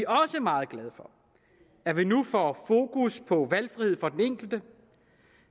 også meget glade for at vi nu får fokus på valgfrihed for den enkelte